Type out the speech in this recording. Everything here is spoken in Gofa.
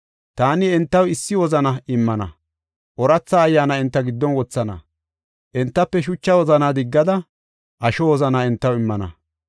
Taani entaw issi wozana immana; ooratha ayyaana enta giddon wothana. Entafe shucha wozanaa diggada, asho wozana entaw immana.